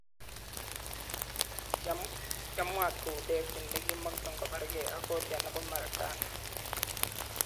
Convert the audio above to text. Kiamuat kou David nikimangei kobargei ak Goliat nebo Marekani.